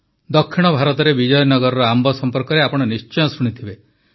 ଦକ୍ଷିଣ ଭାରତରେ ବିଜୟନଗରର ଆମ୍ବ ସମ୍ପର୍କରେ ଆପଣ ନିଶ୍ଚୟ ଶୁଣିଥିବେ